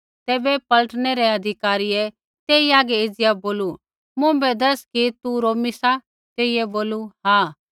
तैबै पलटनै रै अधिकारी तेई हागै एज़िया बोलू मुँभै दैस कि तू रोमी सा तेइयै बोलू हाँ